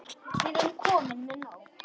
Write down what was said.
Við erum komin með nóg.